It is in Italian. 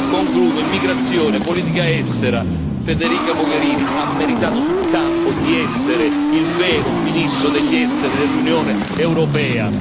Concludo con l'immigrazione e la politica estera Federica Mogherini ha meritato sul campo di essere il vero ministro degli Esteri dell'Unione europea.